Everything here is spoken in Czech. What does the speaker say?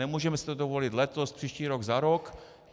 Nemůžeme si to dovolit letos, příští rok, za rok.